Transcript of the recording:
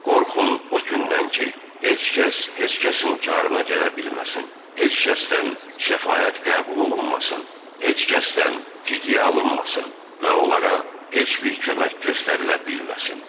Qorxun o gündən ki, heç kəs heç kəsin karına gələ bilməsin, heç kəsdən şəfaət qəbul olunmasın, heç kəsdən fidiyə alınmasın və onlara heç bir kömək göstərilə bilməsin.